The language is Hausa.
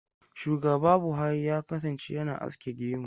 Shugaba Buhari ya kasance yana aske gemu.